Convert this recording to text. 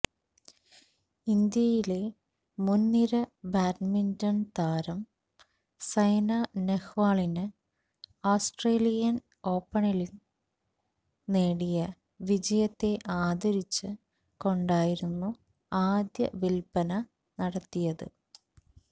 ഇന്തിയിലെ മുൻനിര ബാഡ്മിന്റൻ താരം സൈന നെഹ്വാളിന് ആസ്ട്രേലിയൻ ഓപണിലിൽ നേടിയ വിജയത്തെ ആദരിച്ച് കൊണ്ടായിരുന്നു ആദ്യ വില്പന നടത്തിയത്